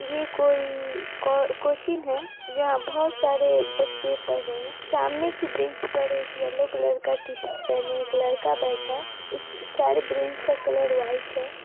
ये कोई को कोचिंग है जहाँ बहोत सारे बच्चे पढ़ रहे है सामने की ब्रेंच पर एक येलो कलर का टी-शर्ट पहने एक लड़का बैठा है इस सारे ब्रेंच का कलर वाइट है।